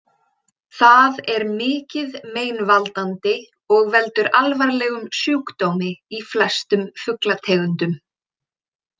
Það er mikið meinvaldandi og veldur alvarlegum sjúkdómi í flestum fuglategundum.